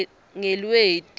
ngelweti